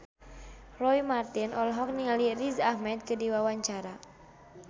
Roy Marten olohok ningali Riz Ahmed keur diwawancara